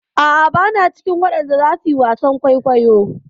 A'a, bana cikin waɗanda zasu yi wasan kwaikwayo.